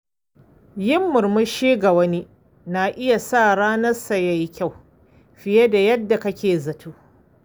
Yin murmushi ga wani na iya sa ranarsa yayi kyau fiye da yadda ake zato.